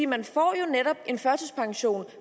man får jo netop en førtidspension